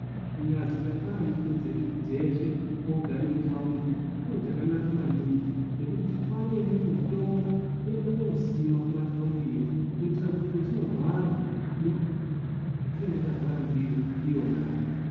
Kunyazi tatwara nduku dzedu dzeshe kogare mutaundi chiro chakanaka maningi chekuti titware imweni mitombo tiende kosima kumataundiyo kuitira kuti petinorwara tinorape mikuhlani yetinenge tarwara ndiyo iyonayo.